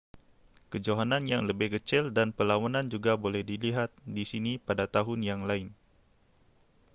kejohanan yang lebih kecil dan perlawanan juga boleh dilihat di sini pada tahun yang lain